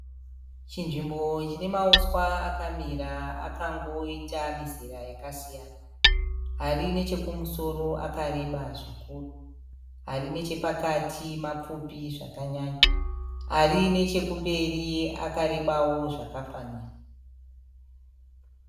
Chinzvimbo chine mauswa akamira akangoita mizera yakasiyana. Ari nechokumusoro akareba zvikuru. Ari nechepakati mapfupi zvakanyanya. Ari nechekumberi akarebawo zvakafanira.